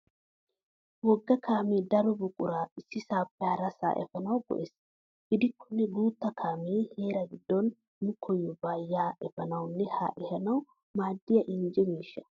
Wogga kaamee daro buquraa issisaappe harasaa efanawu go'es. Gidikkonne guutta kaamee heeraa giddon nu koyyobaa yaa efanawunne haa ehanawu maaddiya injje miishsha.